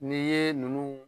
Ni ye nunnu